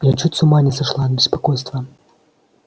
я чуть с ума не сошла от беспокойства